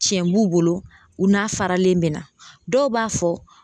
Tiɲɛ b'u bolo, u n'a faralen bɛ na, dɔw b'a fɔ